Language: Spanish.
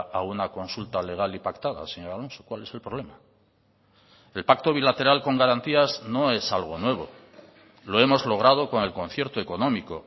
a una consulta legal y pactada señor alonso cuál es el problema el pacto bilateral con garantías no es algo nuevo lo hemos logrado con el concierto económico